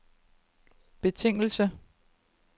betingelse